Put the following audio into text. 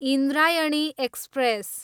Indrayani express